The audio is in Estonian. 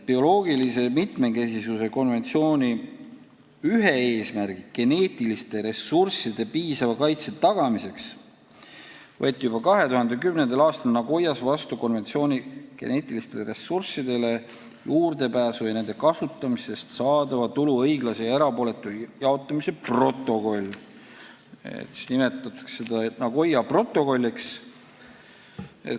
Bioloogilise mitmekesisuse konventsiooni ühe eesmärgi, geneetiliste ressursside piisava kaitse tagamise nimel võeti juba 2010. aastal Nagoyas vastu konventsiooni geneetilistele ressurssidele juurdepääsu ja nende kasutamisest saadava tulu õiglase ja erapooletu jaotamise protokoll, mida nimetatakse Nagoya protokolliks.